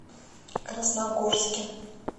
красногорске